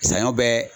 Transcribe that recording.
Saɲɔ bɛ